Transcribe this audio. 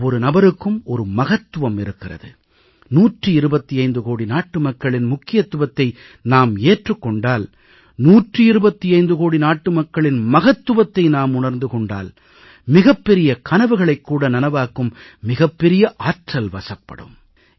ஒவ்வொரு நபருக்கும் ஒரு மகத்துவம் இருக்கிறது 125 கோடி நாட்டு மக்களின் முக்கியத்துவத்தை நாம் ஏற்றுக் கொண்டால் 125 கோடி நாட்டு மக்களின் மகத்துவத்தை நாம் உணர்ந்து கொண்டால் மிகப்பெரிய கனவுகளைக் கூட நனவாக்கும் மிகப் பெரிய ஆற்றல் வசப்படும்